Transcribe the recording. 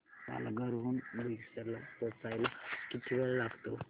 पालघर हून बोईसर ला पोहचायला किती वेळ लागतो